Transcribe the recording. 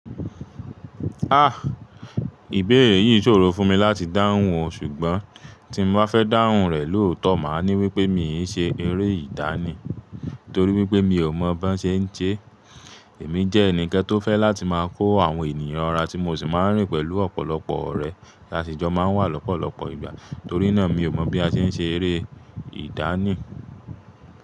Ah! Ìbéèrè yìí ṣòro fún mi láti dáhùn ọ̀, ṣùgbọ́n tí mo bá fẹ́ dáhùn rẹ̀ lóòtọ́, màá ní wípé mi ò ṣe eré ìdánì torí wípé mi ò mọ̀ bó ṣe ń ṣe é. Èmi jẹ́ ẹnì kan tó fẹ́ láti máa kó àwọn ènìyàn ra tí mo sì máa ń rìn pẹ̀lú ọ̀pọ̀lọpọ̀ ọ̀rẹ́ lásìjọ máa ń wà lọ́pọ̀lọpọ̀ ìgbà. Torí náà, mi ò mọ̀ bí a ṣe ń ṣe eré ìdánì.